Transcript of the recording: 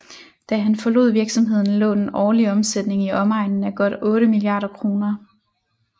Da han forlod virksomheden lå den årlige omsætning i omegnen af godt otte milliarder kroner